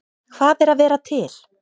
Hvað er að vera til?